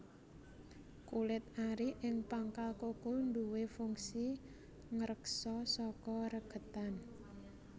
Kulit ari ing pangkal kuku duwé fungsi ngreksa saka regetan